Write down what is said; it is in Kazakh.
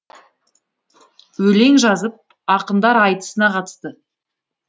өлең жазып ақындар айтысына қатысты